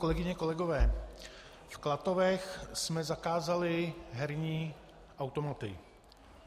Kolegyně, kolegové, v Klatovech jsme zakázali herní automaty.